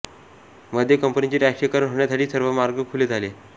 मध्ये कंपनीचे राष्ट्रीयीकरण होण्यासाठी सर्व मार्ग खुले झाले